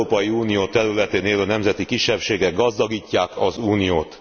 Az Európai Unió területén élő nemzeti kisebbségek gazdagítják az Uniót.